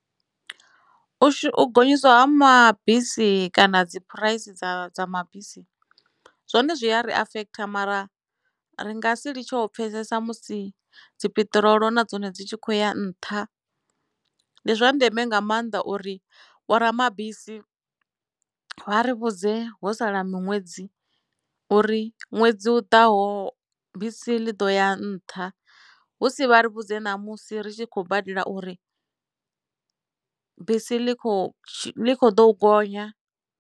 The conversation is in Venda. U gonyiswa ha mabisi kana dzi phuraisi dza dza mabisi zwone zwi ya ri affect mara ri nga si litsho pfesesa musi dzi piṱirolo na dzone dzi tshi khou ya nṱha ndi zwa ndeme nga maanḓa uri vho ramabisi vha ri vhudze ho sala miṅwedzi uri ṅwedzi u ḓaho bisi ḽi ḓo ya nṱha hu si vha ri vhudze ṋamusi ri tshi khou badela uri bisi ḽi kho ḽi kho ḓo gonya.